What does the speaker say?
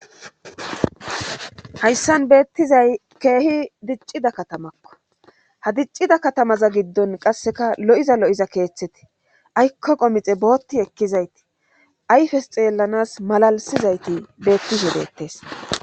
Hayssan beettizay keehi diccida katamakko ha diccida katamaza giddon qasseka lo7iza lo7iza keeththete aykko qomixe bootti ekkizayti ayfes xeellanas malalisizayti beettisubeettes